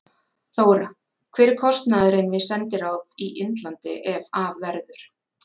Þóra: Hver er kostnaðurinn við sendiráð í Indlandi ef af verður?